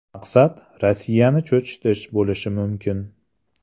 Maqsad Rossiyani cho‘chitish bo‘lishi mumkin.